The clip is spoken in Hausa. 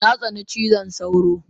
Natsani cizon sauro